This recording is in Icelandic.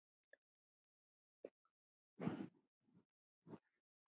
Bæði búa þau í Moskvu.